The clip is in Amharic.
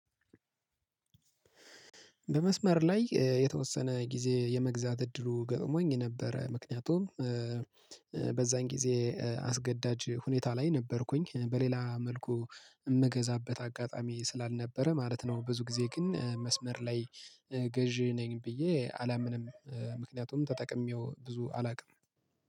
በመስመር ላይ የተወሰነ ጊዜ የመግዛት እድሉ ገጥሞኝ ነበረ ምክንያቱም በዛን ጊዜ አስገዳጅ ሁኔታ ላይ ነበርኩኝ በሌላ መልኩ የምገዛበት አጋጣሚ ስላልነበረ ማለት ነው። ብዙ ጊዜ ግን መስመር ላይ ገዢ ነኝ ብዬ አላምንም። ምክንያቱም ተጠቅሜው ብዙ አላውቅም